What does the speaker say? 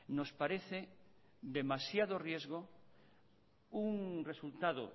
nos parece demasiado riesgo un resultado